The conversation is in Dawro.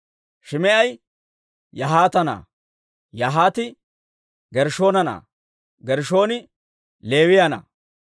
Shim"i Yahaata na'aa; Yahaati Gershshoona na'aa; Gershshooni Leewiyaa na'aa.